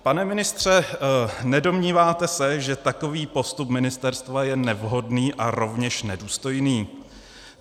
Pane ministře, nedomníváte se, že takový postup ministerstva je nevhodný a rovněž nedůstojný?